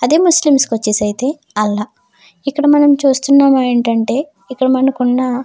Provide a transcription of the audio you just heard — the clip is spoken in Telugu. అదే ముస్లింస్ కి వచ్చేసి అల్లా ఇక్కడ మనం చూస్తున్నాం ఏమిటంటే ఇకద మనకి ఉన్న --